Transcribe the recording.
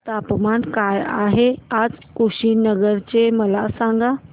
तापमान काय आहे आज कुशीनगर चे मला सांगा